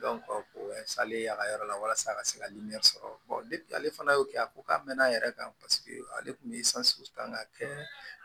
o ye ye a ka yɔrɔ la walasa a ka se ka sɔrɔ ale fana y'o kɛ a ko k'a mɛnna a yɛrɛ kan paseke ale kun bɛ kan ka kɛ